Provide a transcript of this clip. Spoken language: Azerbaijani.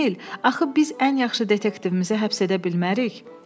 Emil, axı biz ən yaxşı detektivimizi həbs edə bilmərik.